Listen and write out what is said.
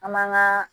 An man ka